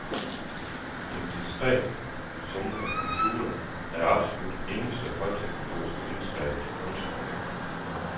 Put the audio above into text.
Den diskret summende computer er det absolut eneste højteknologiske indslag i kunstnerhjemmet.